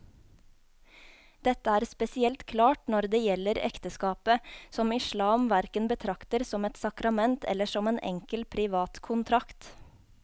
Dette er spesielt klart når det gjelder ekteskapet, som islam hverken betrakter som et sakrament eller som en enkel privat kontrakt.